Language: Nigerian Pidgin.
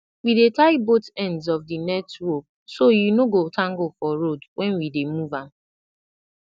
we dey tie both ends of di net rope so e no go tangle for road when we dey move am